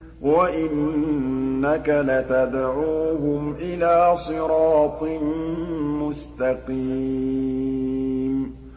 وَإِنَّكَ لَتَدْعُوهُمْ إِلَىٰ صِرَاطٍ مُّسْتَقِيمٍ